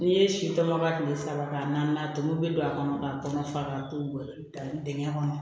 N'i ye si tɔmɔ ka kile saba k'a naani tobi bɛ don a kɔnɔ k'a kɔnɔ fara k'a to dan dingɛ kɔnɔ